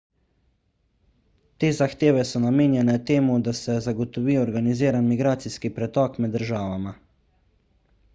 te zahteve so namenjene temu da se zagotovi organiziran migracijski pretok med državama